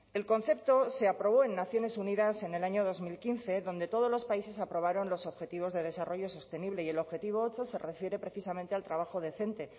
el concepto se aprobó en naciones unidas en el año dos mil quince donde todos los países aprobaron los objetivos de desarrollo sostenible y el objetivo ocho se refiere precisamente al trabajo decente